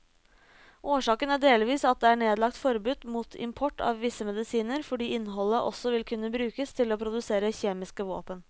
Årsaken er delvis at det er nedlagt forbud mot import av visse medisiner fordi innholdet også vil kunne brukes til å produsere kjemiske våpen.